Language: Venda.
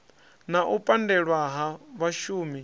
na u pandelwa ha vhashumi